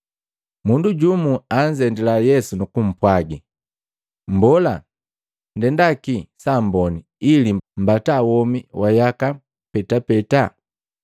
Mundu jumu anzendila Yesu nukupwaga, “Mbola ndendakii saamboni ili mbata womi wa yaka petapeta?”